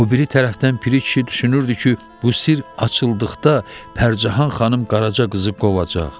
O biri tərəfdən Piri kişi düşünürdü ki, bu sirr açıldıqda Pərcahan xanım Qaraça qızı qovacaq.